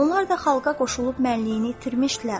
Onlar da xalqa qoşulub mənliyini itirmişdilər.